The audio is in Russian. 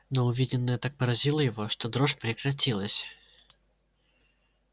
но увиденное так поразило его что дрожь прекратилась